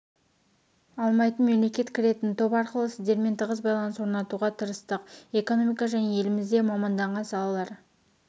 алмайтын мемлекет кіретін топ арқылы сіздермен тығыз байланыс орнатуға тырыстық экономика және елімізде мамандаған салалар